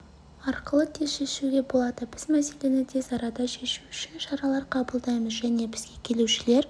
арқылы тез шешуге болады біз мәселені тез арада шешу үшін шаралар қабылдаймыз және бізге келушілер